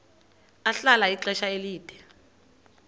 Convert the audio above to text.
ahlala ixesha elide